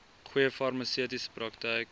goeie farmaseutiese praktyk